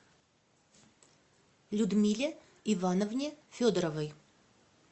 людмиле ивановне федоровой